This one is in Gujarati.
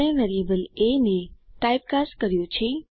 આપણે વેરિયેબલ એ ને ટાઇપ કાસ્ટ કર્યું છે